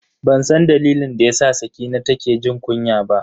Bansan dalilin da yasa Sakina take jin kunya ba.